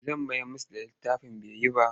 Zan mayar musu da littafin bai yi ba.